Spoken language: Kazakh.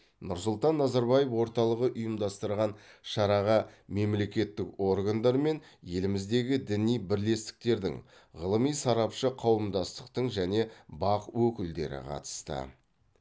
нұрсұлтан назарбаев орталығы ұйымдастырған шараға мемлекеттік органдар мен еліміздегі діни бірлестіктердің ғылыми сарапшы қауымдастықтың және бақ өкілдері қатысты